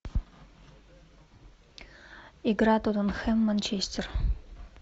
игра тоттенхэм манчестер